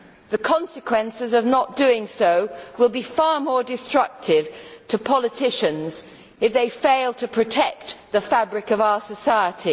The consequences of not doing so will be far more destructive to politicians if they fail to protect the fabric of our society.